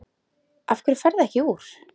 Af hverju ferðu ekki úr?